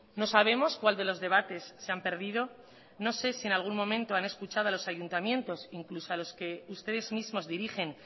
no sabemos cuál de los debates se han perdido no sé si en algún momento han escuchado a los ayuntamientos e incluso a los que ustedes mismos dirigen